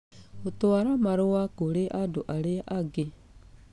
gũtwara marũa kũrĩ andũ arĩa angĩ